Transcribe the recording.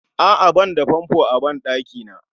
A'a banda fanfo a ban ɗakina